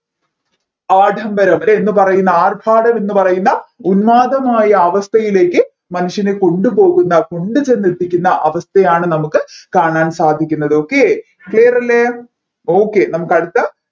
ആഡംബരം അല്ലെ എന്ന് പറയുന്ന ആർഭാടം എന്ന് പറയുന്ന ഉന്മാദയമായ അവസ്ഥയിലേക്ക് മനുഷ്യനെ കൊണ്ടുപോകുന്ന കൊണ്ട് ചെന്നെത്തിക്കുന്ന അവസ്ഥയാണ് നമ്മുക്ക് കാണാൻ സാധിക്കുന്നത്ത് okayclear അല്ലെ